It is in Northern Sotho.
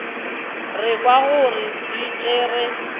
re kwago o di tšere